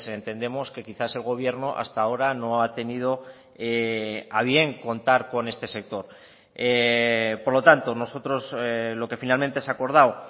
entendemos que quizás el gobierno hasta ahora no ha tenido a bien contar con este sector por lo tanto nosotros lo que finalmente se ha acordado